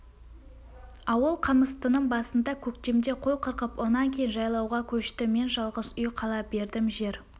ауыл қамыстының басында көктемде қой қырқып онан кейін жайлауға көшті мен жалғыз үй қала бердім жер